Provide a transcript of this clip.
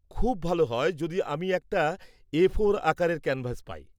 খুব ভাল হয় যদি আমি একটা এ ফোর আকারের ক্যানভাস পাই।